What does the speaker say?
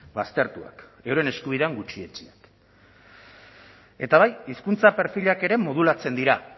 baztertuak euren eskubidean gutxietsiak eta bai hizkuntza perfilak ere modulatzen dira